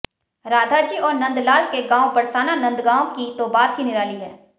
राधाजी और नन्दलाल के गांव बरसाना नंदगांव की तो बात ही निराली है